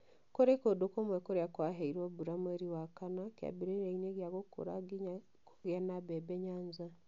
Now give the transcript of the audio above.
Ku͂ri͂ Ku͂ndu͂ kumwe kuria kwaheirwo mbura mweri wa kana ki͂ambi͂ri͂riaini͂ gi͂a gu͂ku͂ra nginya ku͂gi͂a na mbebe Nyanza.